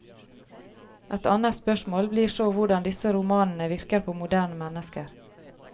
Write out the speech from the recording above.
Et annet spørsmål blir så hvordan disse romanene virker på moderne mennesker.